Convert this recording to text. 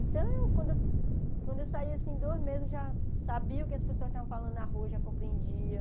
Então, eu quando quando eu saí, assim, dois meses, eu já sabia o que as pessoas estavam falando na rua, já compreendia.